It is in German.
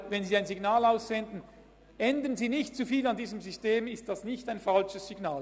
Wenn Sie das Signal aussenden, «Ändern Sie nicht zu viel an diesem System!», dann ist dies sicher kein falsches Signal.